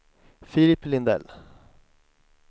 Filip Lindell